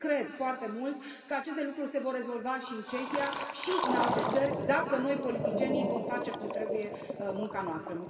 Și cred foarte mult că aceste lucruri se vor rezolva și în Cehia și în alte țări dacă noi, politicienii, vom face cum trebuie munca noastră.